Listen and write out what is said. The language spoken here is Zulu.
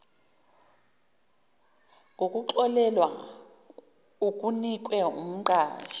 ngokuxolelwa okunikwe umqashi